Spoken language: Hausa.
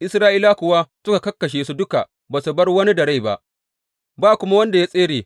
Isra’ilawa kuwa suka karkashe su duka ba su bar wani da rai ba, ba kuma wanda ya tsere.